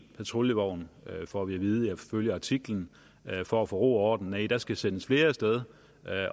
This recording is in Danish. patruljevogn får vi at vide i artiklen for at få ro og orden nej der skal sendes flere af sted